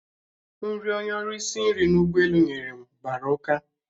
Nri onye ọrụ isi nri n'ụgbọelu nyere m mgbara ụka